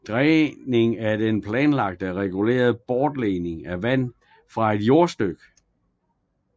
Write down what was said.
Dræning er den planlagte og regulerede bortledning af vand fra et jordstykke